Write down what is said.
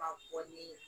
Ka bɔ ni